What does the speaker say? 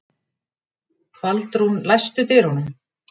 Baldrún, læstu útidyrunum.